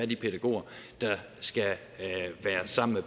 de pædagoger der skal være sammen med